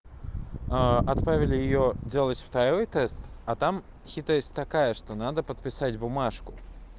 а отправили её делать второй тест а там хитрость такая что надо подписать бумажку